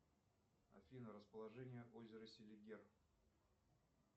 афина расположение озера селигер